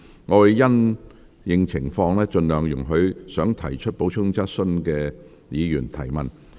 我會因應情況，盡量容許想提出補充質詢的議員提問。